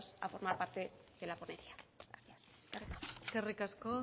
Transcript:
a formar parte de la ponencia eskerrik asko